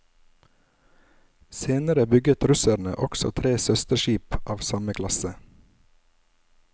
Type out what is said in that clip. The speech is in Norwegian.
Senere bygget russerne også tre søsterskip av samme klasse.